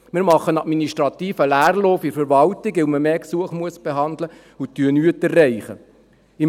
Wir machen einen administrativen Leerlauf in der Verwaltung, weil man mehr Gesuche behandeln muss, und erreichen nichts.